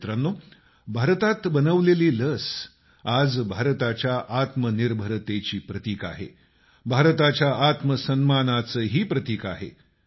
मित्रांनो भारतात बनवलेली लस मेड इन इंडिया आज भारताच्या आत्मनिर्भरतेची प्रतिक आहे भारताच्या आत्मसन्मानाचंही प्रतिक आहे